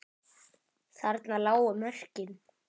Þarna lágu mörkin.